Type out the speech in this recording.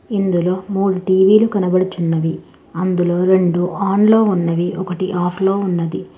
ఇందులో మూడు టీవీలు కనబడుచున్నవి అందులో రెండు ఆన్లో ఉన్నవి ఒకటి ఆఫ్ లో ఉన్నది.